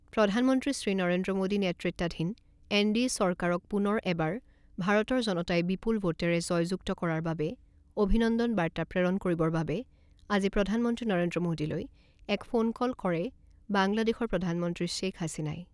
প্ৰধানমন্ত্ৰী শ্ৰী নৰেন্দ্ৰ মোদী নেতৃত্বাধীন এনডিএ চৰকাৰক পুনৰ এবাৰ ভাৰতৰ জনতাই বিপুল ভোটেৰে জয়যুক্ত কৰাৰ বাবে অভিনন্দন বাৰ্তা প্ৰেৰণ কৰিবৰ বাবে আজি প্ৰধানমন্ত্ৰী নৰেন্দ্ৰ মোদীলৈ এক ফোনকল কৰে বাংলাদেশৰ প্ৰধানমন্ত্ৰী শ্বেইখ হাছিনাই।